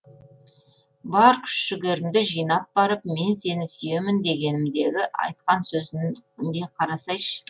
бар күш жігерімді жинап барып мен сені сүйемін дегенімдегі айтқан сөзін е қарасайш